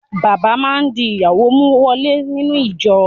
Bàbá má di ìyàwó mú wọlé sínú ìjọ.